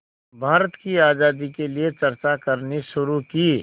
भारत की आज़ादी के लिए चर्चा करनी शुरू की